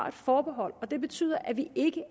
et forbehold og det betyder at vi ikke